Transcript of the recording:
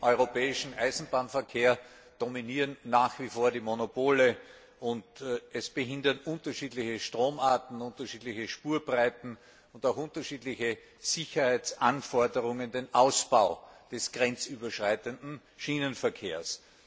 Im europäischen Eisenbahnverkehr dominieren nach wie vor die Monopole, und unterschiedliche Stromarten, unterschiedliche Spurbreiten und auch unterschiedliche Sicherheitsanforderungen behindern den Ausbau des grenzüberschreitenden Schienenverkehrs.